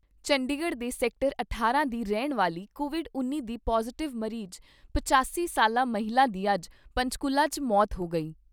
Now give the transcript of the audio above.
ਚੰਡੀਗੜ੍ਹ ਦੇ ਸੈਕਟਰ ਅਠਾਰਾਂ ਦੀ ਰਹਿਣ ਵਾਲੀ ਕੋਵਿਡ ਉੱਨੀ ਦੀ ਪੌਜਿਟਿਵ ਮਰੀਜ ਪਚਾਸੀ ਸਾਲਾ ਮਹਿਲਾ ਦੀ ਅੱਜ ਪੰਚਕੂਲਾ 'ਚ ਮੌਤ ਹੋ ਗਈ।